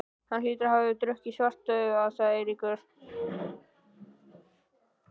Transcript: Hann hlýtur að hafa drukkið Svartadauða, sagði Eiríkur.